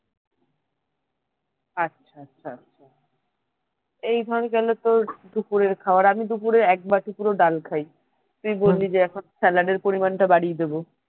আচ্ছা আচ্ছা আচ্ছা এই ধর গেলো তোর দুপুরের খাবার আমি দুপুরে এক বাটি পুরো ডাল খাই তুই বললি যে এখন salad এর পরিমানটা বাড়িয়ে দেবো